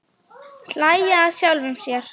Hlæja að sjálfum sér.